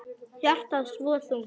Hjartað svo þungt.